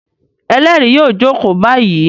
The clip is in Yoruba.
Ẹlẹ́rìí yóò jókòó báyìí!